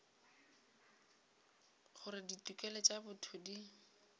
gore ditokelo tša botho di